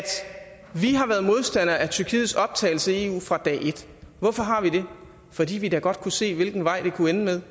vi har været modstandere af tyrkiets optagelse i eu fra dag et hvorfor har vi det fordi vi da godt kunne se hvilken vej det kunne ende med